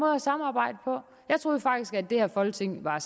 at samarbejde på jeg troede faktisk at det her folketing var